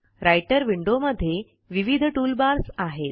writer विंडोमध्ये विविध toolbars आहेत